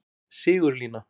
Sigurlína